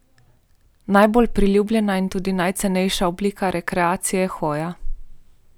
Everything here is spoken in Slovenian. Najbolj priljubljena in tudi najcenejša oblika rekreacije je hoja.